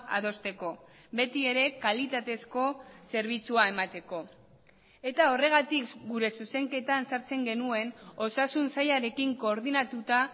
adosteko beti ere kalitatezko zerbitzua emateko eta horregatik gure zuzenketan sartzen genuen osasun sailarekin koordinatuta